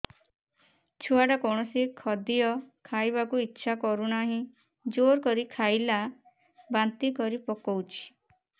ଛୁଆ ଟା କୌଣସି ଖଦୀୟ ଖାଇବାକୁ ଈଛା କରୁନାହିଁ ଜୋର କରି ଖାଇଲା ବାନ୍ତି କରି ପକଉଛି